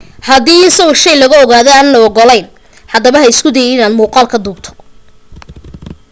haddii in sawir shay laga qaado aan la ogolayn haddaba haba isku dayin inaad muuqaal ka duubtana